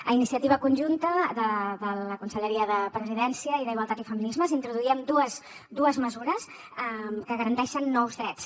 a iniciativa conjunta de la conselleria de presidència i d’igualtat i feminismes introduíem dues mesures que garanteixen nous drets